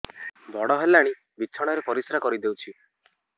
ବଡ଼ ହେଲାଣି ବିଛଣା ରେ ପରିସ୍ରା କରିଦେଉଛି